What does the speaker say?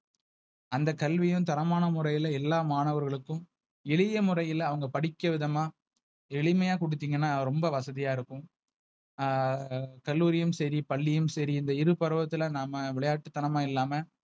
அந்த கல்வியையும் தரமான முறையில் எல்லா மாணவர்களுக்கும், எளிய முறையில அவங்க படிக்க விதமா எளிமையா குடுத்தீங்கன்னா ரொம்ப வசதியா இருக்கும். ஆஹ் கல்லூரியும் சரி பள்ளியிலும் சரி இந்த இரு பருவத்துல நாம விளையாட்டுதனமா இல்லாம.